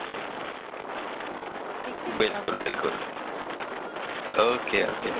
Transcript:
ઠીક છે ભીખાભાઇ બિલકુલ બિલકુલ ઓકે ઓકે